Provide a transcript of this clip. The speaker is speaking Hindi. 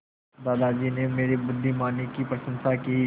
दादाजी ने मेरी बुद्धिमानी की प्रशंसा की